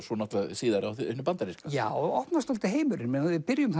síðar á því bandaríska já það opnast dálítið heimurinn við byrjum